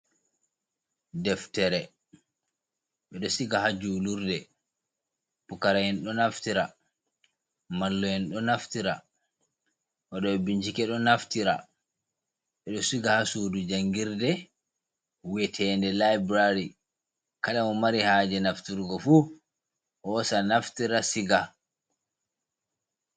Deftere ɓeɗo siga ha julurde, pukara en ɗo naftira, mallum en ɗo naftira, woɗo ɓe bin chike ɗo naftira, ɓeɗo siga ha sudu jangirde we'etende laibirary kala mo mari haje nafturgo fu hosa naftira siga.